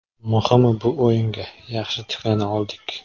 Muhimi bu o‘yinga yaxshi tiklana oldik.